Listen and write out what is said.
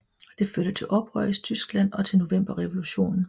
Det førte til oprør i Tyskland og til Novemberrevolutionen